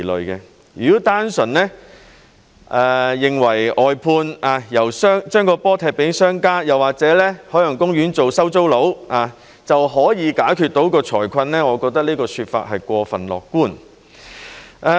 如果認為單純外判，把波踢給商家，又或者海洋公園做"收租佬"就能解決財困，我覺得這個說法是過分樂觀。